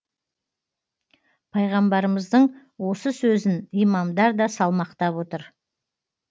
пайғамбарымыздың осы сөзін имамдар да салмақтап отыр